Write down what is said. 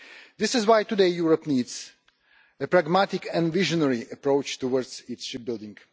This is why today Europe needs a pragmatic and visionary approach towards its shipbuilding.